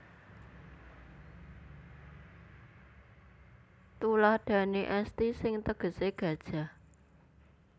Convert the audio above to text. Thuladhane esthi sing tegese gajah